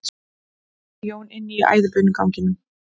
spurði Jón inn í æðibunuganginn.